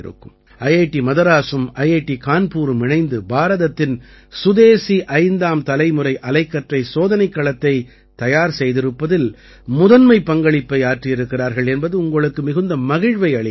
IIT மதராஸும் IIT கான்பூரும் இணைந்து பாரதத்தின் சுதேசி ஐந்தாம் தலைமுறை அலைக்கற்றை சோதனைக் களத்தைத் தயார் செய்திருப்பதில் முதன்மை பங்களிப்பை ஆற்றியிருக்கிறார்கள் என்பது உங்களுக்கு மிகுந்த மகிழ்வை அளிக்கலாம்